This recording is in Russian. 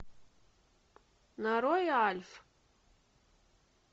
нарой альф